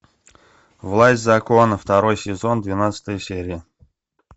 власть закона второй сезон двенадцатая серия